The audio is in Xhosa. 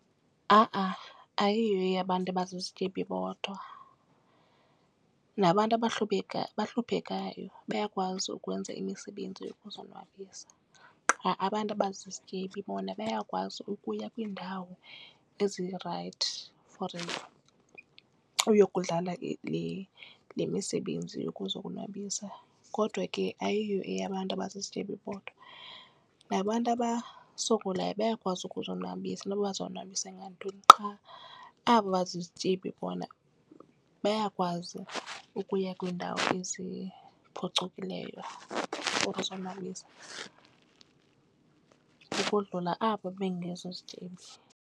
Ha-a ayiyo eyabantu abazizityebi bodwa nabantu abahluphekayo bayakwazi ukwenza imisebenzi yokuzonwabisa. Qha abantu abazizityebi bona bayakwazi ukuya kwiindawo ezirayithi for uyokudlala le misebenzi yokuzonwabisa. Kodwa ke ayiyo eyabantu abazizityebi bodwa nabantu abasokolayo bayakwazi ukuzonwabisa noba bazonwabisa ngantoni qha abo bazizityebi bona bayakwazi ukuya kwiindawo eziphucukileyo for ukuzonwabisa ukodlula abo bangezozityebi.